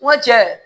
N ko cɛ